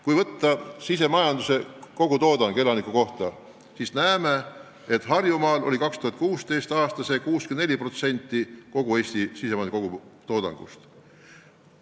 Kui võtta sisemajanduse kogutoodang, siis näeme, et Harjumaa andis 2016. aastal 64% kogu Eesti sisemajanduse kogutoodangust.